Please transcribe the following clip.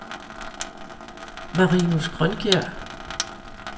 Marinus Grønkjær